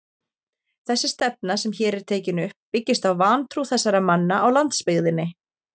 Þessi stefna, sem hér er tekin upp, byggist á vantrú þessara manna á landsbyggðinni.